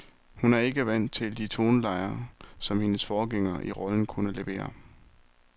Hun er ikke vant til de tonelejer, som hendes forgængere i rollen kunne levere.